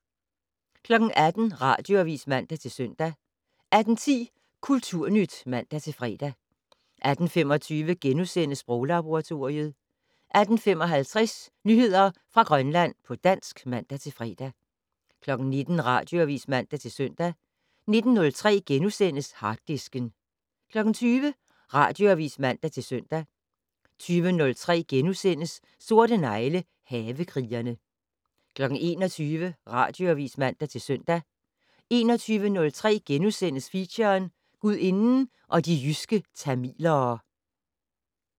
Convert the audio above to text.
18:00: Radioavis (man-søn) 18:10: Kulturnyt (man-fre) 18:25: Sproglaboratoriet * 18:55: Nyheder fra Grønland på dansk (man-fre) 19:00: Radioavis (man-søn) 19:03: Harddisken * 20:00: Radioavis (man-søn) 20:03: Sorte negle: Havekrigerne * 21:00: Radioavis (man-søn) 21:03: Feature: Gudinden og de jyske tamilere *